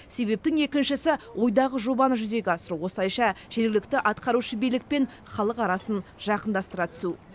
себептің екіншісі ойдағы жобаны жүзеге асыру осылайша жергілікті атқарушы билік пен халық арасын жақындастыра түсу